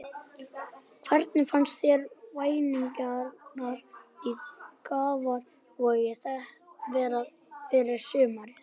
Hvernig finnst þér væntingarnar í Grafarvogi vera fyrir sumarið?